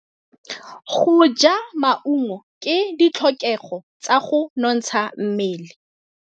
Go ja maungo ke ditlhokegô tsa go nontsha mmele.